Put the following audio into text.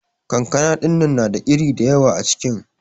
kankana dinnan na da iri dayawa acikin.